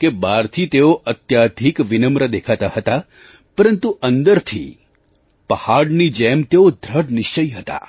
કે બહારથી તેઓ અત્યાધિક વિનમ્ર દેખાતા હતા પરંતુ અંદરથી પહાડની જેમ તેઓ દૃઢ નિશ્ચયી હતા